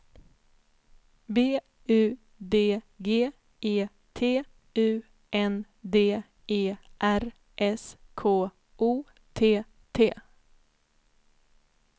B U D G E T U N D E R S K O T T